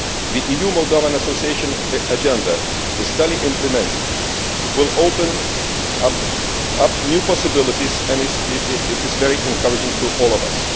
The EU Moldovan association agenda, if duly implemented, will open up new possibilities and is very encouraging to all of us.